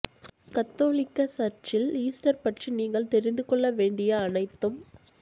கத்தோலிக்க சர்ச்சில் ஈஸ்டர் பற்றி நீங்கள் தெரிந்து கொள்ள வேண்டிய அனைத்தும்